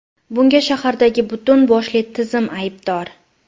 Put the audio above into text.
Bunga shahardagi butun boshli tizim aybdor!